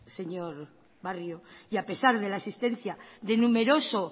señor barrio y a pesar de la existencia de numeroso